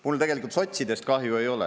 Mul tegelikult sotsidest kahju ei ole.